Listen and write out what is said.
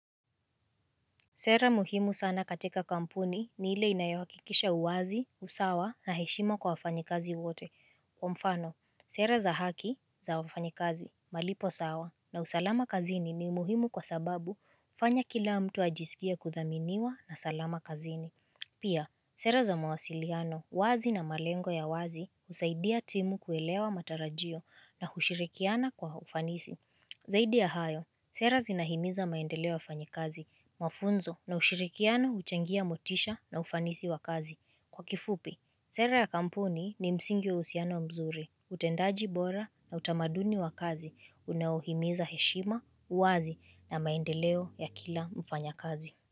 Sera muhimu sana katika kampuni ni ile inayawakikisha uwazi, usawa na heshima kwa wafanyikazi wote Kwa mfano, sera za haki za wafanyikazi, malipo sawa na usalama kazini ni muhimu kwa sababu fanya kila mtu ajisikie kuthaminiwa na salama kazini Pia, sera za mawasiliano, wazi na malengo ya wazi usaidia timu kuelewa matarajio na hushirikiana kwa ufanisi Zaidi ya hayo, sera zinahimiza maendeleo ya fanyi kazi, mafunzo na ushirikiano uchangia motisha na ufanisi wa kazi. Kwa kifupi, sera ya kampuni ni msingi wa uhusiano mzuri, utendaji bora na utamaduni wa kazi, unaohimiza heshima, uwazi na maendeleo ya kila mfanya kazi.